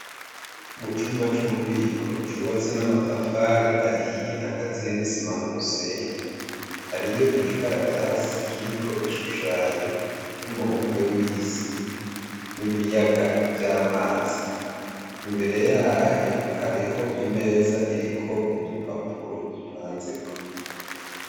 Mu cumba cububiko cubatswe n'amatafari ahiye akaziye n'isima numusenyi, hariko igikaratasi kiriko ishushanya ry'umubumbe w'isi n'ibiyaga vy'amazi. Imbere yayo hariho imeza iriko udupapuro dupanzeko.